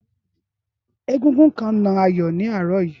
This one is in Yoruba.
Égúngún kan na Ayọ̀ ní àárọ̀ yìí